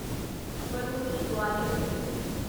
brownie Gwalior ਮੇਲ